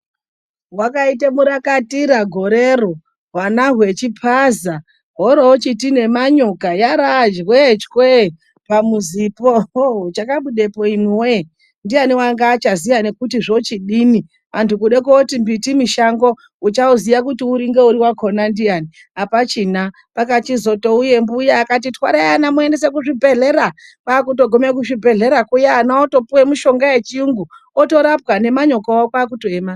Wakaita murakwatira gore iro hwana huchipaza woro uchiti nemanyoka yava jwechwee pamuzipo. Chakabudepo anduwe ndiani anga achaziva kuti zvochidini. Andu kuda kuti mbiti mushango uchauziya kuti uri wakona ndiani, apachina. Pakazouya mbuya yakati twarai ana muendese kuzvibhedhlera, kwakutoguma kuzvibhedhlera kuya ana otopuwa mishonga yechiyungu, otorapwa nemanyokawo kwaakuroema.